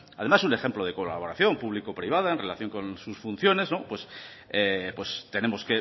además un ejemplo de colaboración público privada en relación con sus funciones tenemos